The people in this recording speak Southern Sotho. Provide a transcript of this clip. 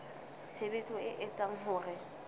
tshebetso e etsang hore ho